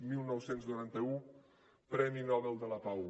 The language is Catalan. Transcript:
dinou noranta u premi nobel de la pau